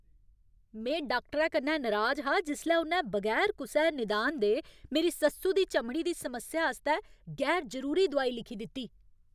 में डाक्टरै कन्नै नराज हा जिसलै उ'न्नै बगैर कुसै निदान दे मेरी सस्सु दी चमड़ी दी समस्या आस्तै गैर जरूरी दोआई लिखी दित्ती।